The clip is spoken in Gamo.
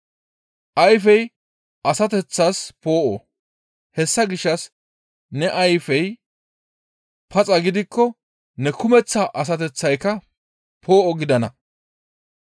«Ayfey asateththas poo7o; hessa gishshas ne ayfey paxa gidikko, ne kumeththa asateththayka poo7o gidana.